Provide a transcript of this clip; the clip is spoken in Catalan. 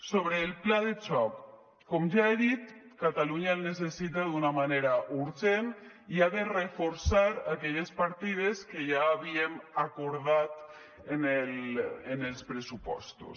sobre el pla de xoc com ja he dit catalunya el necessita d’una manera urgent i ha de reforçar aquelles partides que ja havíem acordat en els pressupostos